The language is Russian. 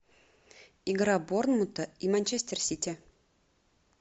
игра борнмута и манчестер сити